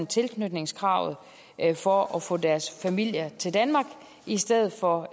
tilknytningskravet for at få deres familier til danmark i stedet for